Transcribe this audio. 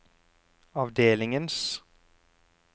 avdelingens